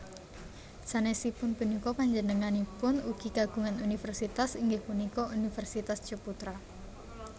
Sanesipun punika panjenenganipun ugi kagungan universitas inggih punika Universitas Ciputra